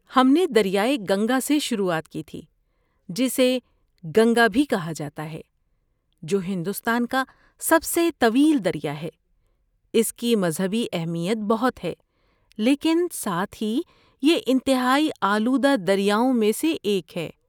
ہم نے دریائے گنگا سے شروعات کی تھی، جسے گنگا بھی کہا جاتا ہے، جو ہندوستان کا سب سے طویل دریا ہے، اس کی مذہبی اہمیت بہت ہے لیکن ساتھ ہی یہ انتہائی آلودہ دریاؤں میں سے ایک ہے۔